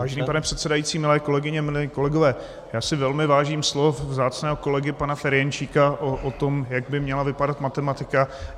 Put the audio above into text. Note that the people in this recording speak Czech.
Vážený pane předsedající, milé kolegyně, milí kolegové, já si velmi vážím slov vzácného kolegy pana Ferjenčíka o tom, jak by měla vypadat matematika.